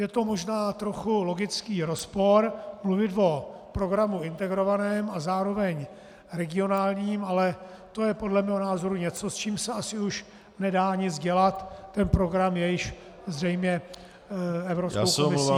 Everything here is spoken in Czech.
Je to možná trochu logický rozpor, mluvit o programu integrovaném a zároveň regionálním, ale to je podle mého názoru něco, s čím se asi už nedá nic dělat, ten program je již zřejmě Evropskou komisí schválen.